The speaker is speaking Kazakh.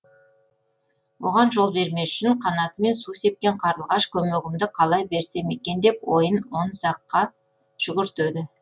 оған жол бермес үшін қанатымен су сепкен қарлығаш көмегімді қалай берсем екен деп ойын он саққа жүгіртеді